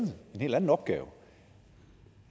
en helt anden opgave